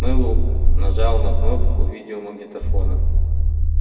мэллоу нажал на кнопку видеомагнитофона